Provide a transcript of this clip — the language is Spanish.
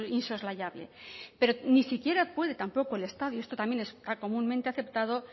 insoslayable pero ni siquiera puede tampoco el estado y esto también está comúnmente aceptado